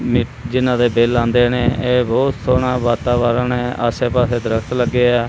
ਜਿਹਨਾਂ ਦੇ ਬਿੱਲ ਆਂਦੇ ਨੇ ਏਹ ਬੋਹਤ ਸੋਹਣਾ ਵਾਤਾਵਰਣ ਹੈ ਆਸੇ ਪਾੱਸੇ ਦਰੱਖਤ ਲੱਗੇ ਹੈਂ।